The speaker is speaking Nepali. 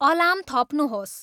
अलार्म थप्नुहोस्